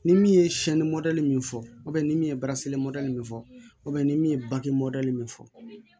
Ni min ye min fɔ ni min ye min fɔ ni min ye bange min fɔ